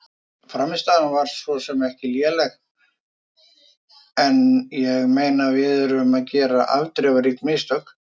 Frammistaðan var svo sem ekki léleg en ég meina við erum að gera afdrifarík mistök.